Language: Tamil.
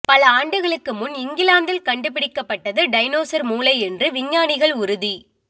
பல ஆண்டுகளுக்குமுன் இங்கிலாந்தில் கண்டுபிடிக்கப்பட்டது டைனோசர் மூளை என்று விஞ்ஞானிகள் உறுதி